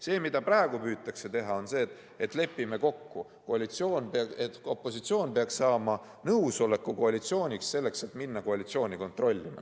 See, mida praegu püütakse teha, on see, et lepime kokku, et opositsioon peaks saama nõusoleku koalitsiooniks, selleks et minna koalitsiooni kontrollima.